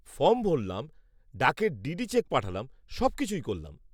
Form ভরলাম, ডাকে DD cheque পাঠালাম, সবকিছুই করলাম।